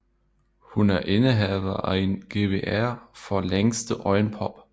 Hun er indehaver af en GWR for længste øjenpop